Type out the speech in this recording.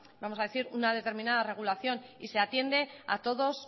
vamos a decir una determinada regulación y se atiende a todos